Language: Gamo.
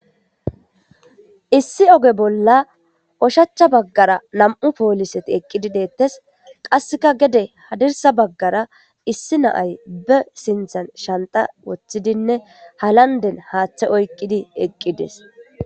Issi oge bolla oshachcha baggara nam'u pooliseti eqqidi deettes qasseka gede hadirsa baggara issi naay be sinthan shanta woththidinne halanden haaththe oyqqidi eqqides.